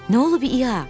Nə olub İya?